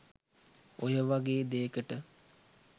ඔය වගේ දේකට